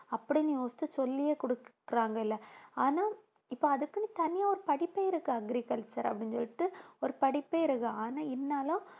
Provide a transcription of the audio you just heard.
அப்படின்னு யோசிச்சு சொல்லியே கொடுக்கிறாங்க இல்லை ஆனா இப்ப அதுக்குன்னு தனியா ஒரு படிப்பே இருக்கு agriculture அப்படின்னு சொல்லிட்டு ஒரு படிப்பே இருக்கு ஆனால் இருந்தாலும்